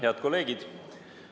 Head kolleegid!